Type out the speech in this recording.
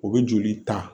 O bɛ joli ta